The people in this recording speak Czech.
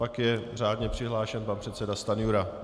Pak je řádně přihlášen pan předseda Stanjura.